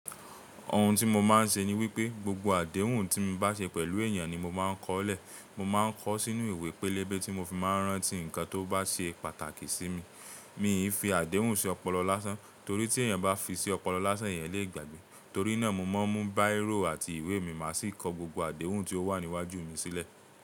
Ohun tí mo máa ń ṣe ni wípé gbogbo àdéhùn tí mo bá ṣe pẹ̀lú ènìyàn ni mo máa ń kọ lẹ̀. Mo máa ń kọ sínú ìwé pélébé tí mo fi máa ń rántí nǹkan tó bá ṣe pàtàkì sí mi. Míì fi àdéhùn ṣí ọpọlọ lásán torí tí èyàn bá fi sí ọpọlọ lásán, èyàn lè gbàgbé. Torí náà, mo máa ń mú bírò àti ìwé mi, màá sì kọ gbogbo àdéhùn tí ó wà ní wájú mi sílẹ̀.